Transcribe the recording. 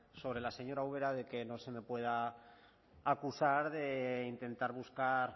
sobre la señora ubera de que no se me pueda acusar de intentar buscar